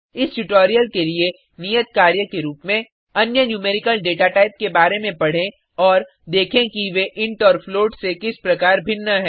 इस ट्यूटोरियल के लिए नियत कार्य के रुप में अन्य न्यूमेरिकल डेटाटाइप के बारे में पढें और देखें कि वे इंट और फ्लोट से किस प्रकार भिन्न है